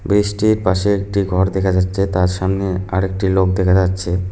ব্রিছ -টির পাশে একটি ঘর দেখা যাচ্ছে তার সামনে আরেকটি লোক দেখা যাচ্ছে।